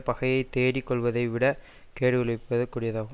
பகையை தேடிக் கொள்வதை விடக் கேடு விளைவிப்பது கூடியதாகும்